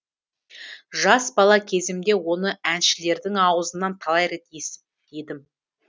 жас бала кезімде оны әншілердің аузынан талай рет естіп едім